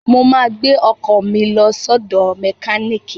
Mo ma gbẹ́ ọkọ̀ mi lọ sọ́dọ̀ mẹkíníìkì